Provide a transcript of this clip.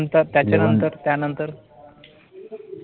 ठीक आहे, त्याच्यानंतर त्यानंतर?